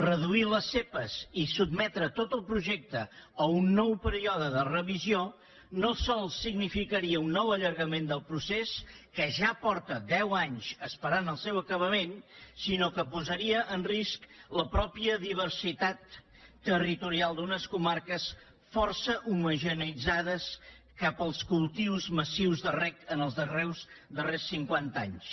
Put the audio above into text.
reduir les zepa i sotmetre tot el projecte a un nou període de revisió no sols significaria un nou allargament del procés que ja fa deu anys que espera el seu acabament sinó que posaria en risc la mateixa diversitat territorial d’unes comarques força homogeneïtzades cap als cultius massius de reg en els darrers cinquanta anys